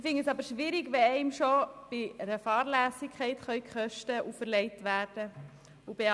Ich finde es aber schwierig, wenn einem schon bei Fahrlässigkeit Kosten auferlegt werden können.